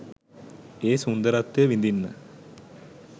ඒ සුන්දරත්වය විඳින්න.